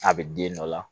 A bɛ den dɔ la